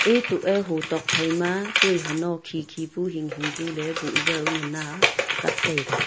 etuk eh hu tok phai ma tui hano kheekhee pu hinghing pu le puzao ngan na kap taiga.